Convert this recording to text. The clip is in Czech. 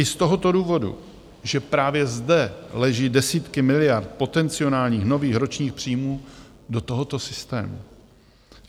I z tohoto důvodu, že právě zde leží desítky miliard potencionálních nových ročních příjmů do tohoto systému.